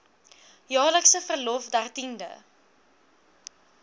jaarlikse verlof dertiende